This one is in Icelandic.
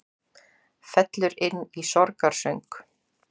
Fellur inn í sorgarsöng